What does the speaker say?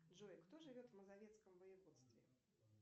джой кто живет в мазовецком воеводстве